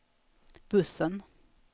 bussen